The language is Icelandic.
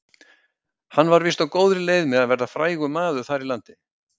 Hann var víst á góðri leið með að verða frægur maður þar í landi.